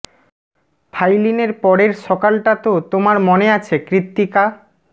ফাইলিনের পরের সকাল টা তো তোমার মনে আছে কৃত্তিকা